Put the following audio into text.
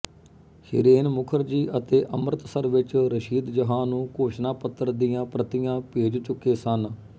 ਹੀਰੇਨ ਮੁਖਰਜੀ ਅਤੇ ਅੰਮ੍ਰਿਤਸਰ ਵਿੱਚ ਰਸ਼ੀਦ ਜਹਾਂ ਨੂੰ ਘੋਸ਼ਣਾਪਤਰ ਦੀਆਂ ਪ੍ਰਤੀਆਂ ਭੇਜ ਚੁੱਕੇ ਸਨ